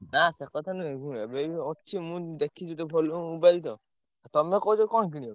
ନା ସେ କଥା ନୁହେଁ ଶୁଣ ଅଛି ମୁଁ ଦେଖିଛି ଗୋଟେ ଭଲ mobile ଟେ। ତମେ କହୁଛ କଣ କିଣିବ?